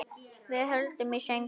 Við höldum í söguna.